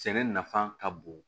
Sɛnɛ nafa ka bon